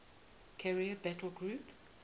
carrier battle group